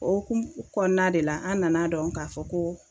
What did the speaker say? O hokumu kɔnɔna de la an nana dɔn k'a fɔ ko